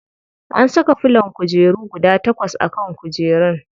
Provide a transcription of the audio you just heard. An saka filon kujeru guda takwas a kan kujerun.